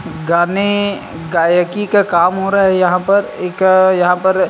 गाने गायिकी का काम हो रहा है यहाँ पर--